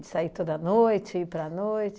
De sair toda noite, ir para a noite?